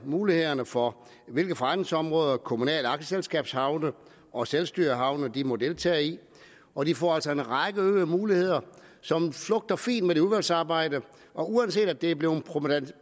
mulighederne for hvilke forretningsområder kommunale aktieselskabshavne og selvstyrehavne må deltage i og de får altså en række øgede muligheder som flugter fint med det udvalgsarbejde uanset at det er blevet